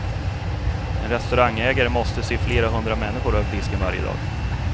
En restaurangägare måste se flera hundra människor över disken varje dag.